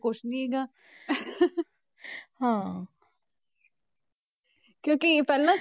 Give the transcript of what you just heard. ਕੁਛ ਨੀ ਜਾਂ ਹਾਂ ਕਿਉਂਕਿ ਪਹਿਲਾਂ,